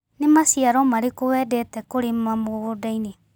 Nĩ maciaro marĩkũ wendete kũrĩma mũgũndainĩ.